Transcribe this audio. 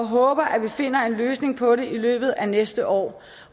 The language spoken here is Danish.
håber at vi finder en løsning på det i løbet af næste år